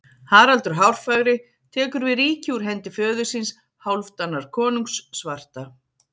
Haraldur hárfagri tekur við ríki úr hendi föður síns, Hálfdanar konungs svarta.